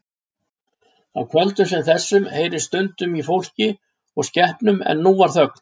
Á kvöldum sem þessu heyrðist stundum í fólki og skepnum en nú var þögn.